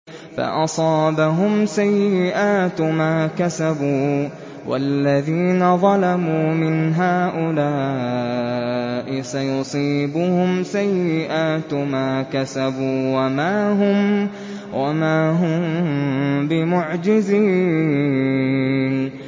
فَأَصَابَهُمْ سَيِّئَاتُ مَا كَسَبُوا ۚ وَالَّذِينَ ظَلَمُوا مِنْ هَٰؤُلَاءِ سَيُصِيبُهُمْ سَيِّئَاتُ مَا كَسَبُوا وَمَا هُم بِمُعْجِزِينَ